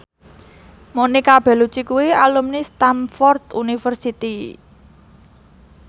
Monica Belluci kuwi alumni Stamford University